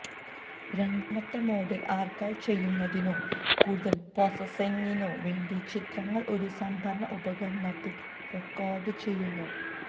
രണ്ടാമത്തെ മോഡിൽ ആർക്കൈവ് ചെയ്യുന്നതിനോ കൂടുതൽ പ്രോസസ്സിംഗിനോ വേണ്ടി ചിത്രങ്ങൾ ഒരു സംഭരണ ഉപകരണത്തിൽ റെക്കോർഡുചെയ്യുന്നു